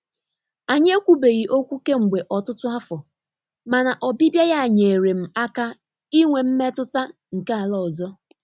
Anyị ekwubeghị okwu kemgbe ọtụtụ afọ, mana ọbịbịa ya nyeere m aka inwe mmetụta nke ala ọzọ.